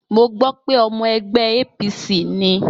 Mo gbọ́ pé ọmọ ẹgbẹ́ APC ni.